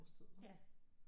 Årstid vel